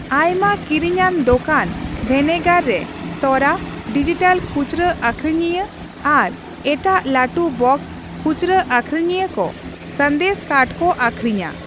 ᱟᱭᱢᱟ ᱠᱤᱨᱤᱧᱟᱱ ᱫᱚᱠᱟᱱ ᱵᱷᱮᱱᱮᱜᱟᱨ ᱨᱮ ᱥᱛᱚᱨᱟ, ᱰᱤᱡᱤᱴᱟᱞ ᱠᱷᱩᱪᱚᱨᱟᱹ ᱟᱹᱠᱷᱨᱤᱧᱤᱭᱟᱹ ᱟᱨ ᱮᱴᱟᱜ ᱞᱟᱹᱴᱩᱼᱵᱚᱠᱥ ᱠᱷᱩᱪᱨᱟᱹ ᱟᱹᱠᱷᱨᱤᱧᱤᱭᱟᱹ ᱠᱚ ᱥᱟᱸᱫᱮᱥ ᱠᱟᱨᱰ ᱠᱚ ᱟᱹᱠᱷᱨᱤᱧᱟ ᱾